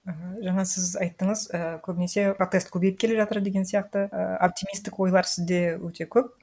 мхм жаңа сіз айттыңыз і көбінесе протест көбейіп келе жатыр деген сияқты і оптимистік ойлар сізде өте көп